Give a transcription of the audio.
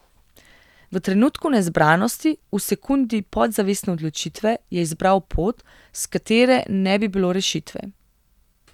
V trenutku nezbranosti, v sekundi podzavestne odločitve, je izbral pot, s katere ne bi bilo rešitve.